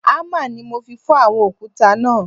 Hámà ni mo fi fọ́ àwọn òkúta náà